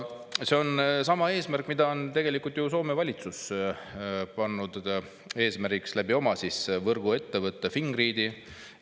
See on sama eesmärk, mille on tegelikult Soome valitsus oma võrguettevõtte Fingrid kaudu.